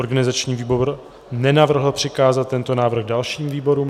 Organizační výbor nenavrhl přikázat tento návrh dalším výborům.